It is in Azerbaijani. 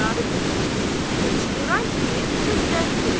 Qazı qızın üstünə çığıran kimi qız rədd oldu.